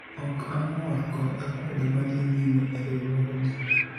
ok am, or kod akwede madhi nyime e riwruogni